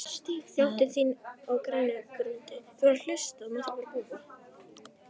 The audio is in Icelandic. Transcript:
Njóttu þín á grænni grund.